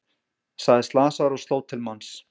Sagðist slasaður og sló til manns